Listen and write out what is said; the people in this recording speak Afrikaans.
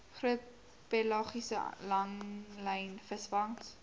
groot pelagiese langlynvisvangs